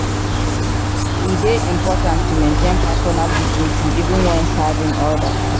E dey important to maintain personal dignity even when serving others.